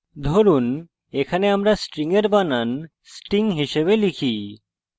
ধরুন এখানে আমরা string এর বানান sting হিসাবে type